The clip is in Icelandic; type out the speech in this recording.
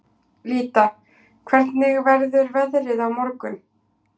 Lýdía, hvernig verður veðrið á morgun?